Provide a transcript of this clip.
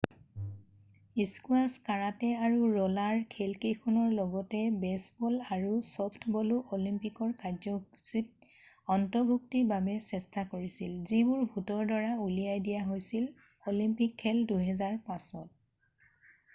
"Squash karate আৰু roller খেলকেইটাৰ লগতে বেছবল আৰু চফ্টবলো অলিম্পিকৰ কাৰ্যসূচীত অন্তৰ্ভুক্তিৰ বাবে চেষ্টা কৰিছিল যিবোৰ ভোটৰ দ্বাৰা উলিয়াই দিয়া হৈছিল অলিম্পিক খেল ২০০৫ত।""